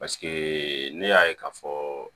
Paseke ne y'a ye k'a fɔ